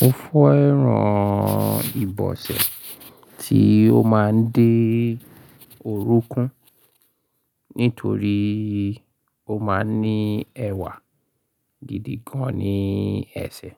Mo fẹ́ran ìbọsẹ̀ tí ó máa ń dé orúnkún nítorí ó máa ń ní ẹwà gidi gan ní ẹsẹ̀.